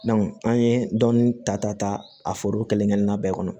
an ye dɔnni ta ka ta a foro kelen-kelenna bɛɛ kɔnɔ